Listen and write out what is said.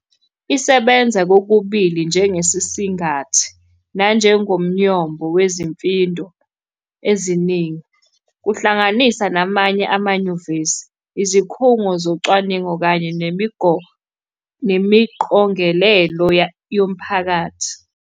Isebenza kokubili njengesisingathi nanjengomnyombo wezimfindo eziningi, kuhlanganisa namanye amanyuvesi, izikhungo zocwaningo kanye nemiqogelelo yomphakathi.